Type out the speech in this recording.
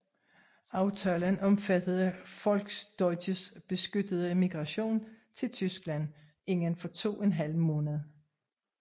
Aftalen omfattede Volksdeutsches beskyttede migration til Tyskland inden for to en halv måned